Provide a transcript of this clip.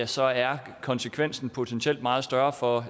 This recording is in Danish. så er konsekvensen potentielt meget større for